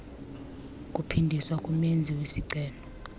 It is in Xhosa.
kuphindiswa kumenzi wesicelo